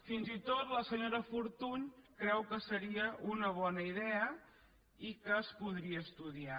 fins i tot la senyora fortuny creu que seria una bona idea i que es podria estudiar